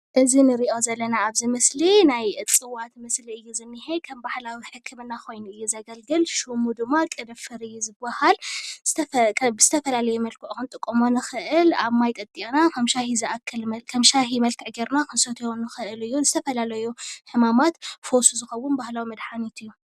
እዚ ንሪኦ ዘለና ኣብዚ ምስሊ ናይ እፅዋት ምስሊ እዩ ዝኒሀ፡፡ ከም ባህላዊ ሕክምና ኮይኑ እዩ ዘገልግል፡፡ ሽሙ ድማ ቅንፍር እዩ ዝበሃል፡፡ ብዝተፈላለየ መልክዑ ክንጥቀሞ ንኽእል፡፡ ኣብ ማይ ጠጢቕና ከም ሻሂ መልክዕ ጌርና ክንሰትዮ ንኽእል እዩ፡፡ ንዝተፈላለዩ ሕማማት ፈውሲ ዝኸውን ባህላዊ መድሓኒት እዩ፡፡